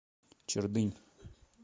чердынь